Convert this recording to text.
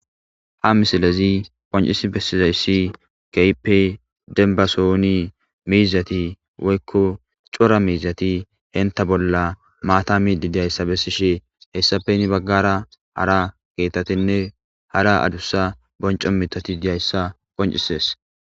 ha misilezi qoncisi pessizayssi keyippe denbasohuni miizati woykko cora miizati henta bolla maata midi diyayssa bessishe hessafeni baggara hara keetatenne hara adussa bonco mitati diyayssa qoncisees